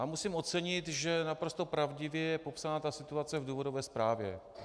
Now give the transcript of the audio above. A musím ocenit, že naprosto pravdivě je popsána ta situace v důvodové zprávě.